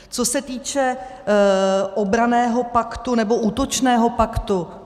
Co se týče obranného paktu nebo útočného paktu.